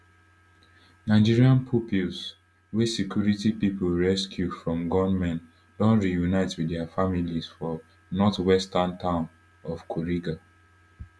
nigerian pupils wey security pipo rescue from gunmen don reunite wit dia families for northwestern town of kuriga